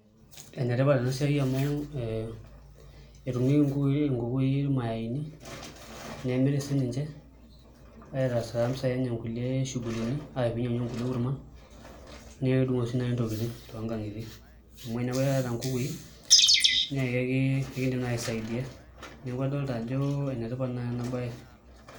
Enetipat ena siai amu ee etumieki inkukui ilmayayini, nemiri sininje aitaa taa impisai eny ingulie shugulini ninyiangunyieki inkulie enkurma, nedungoo sii naai intokitin toonkankitie, amu eeku iyata inkukui neeku ikiidim naayi aisaidia. Neeku adoolta ajo enetipat naai ena bae.